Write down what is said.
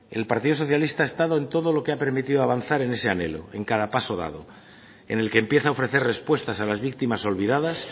el partido socialista ha estado en todo lo que ha permitido avanzar en ese anhelo en cada paso dado en el que empieza a ofrecer respuestas a las víctimas olvidadas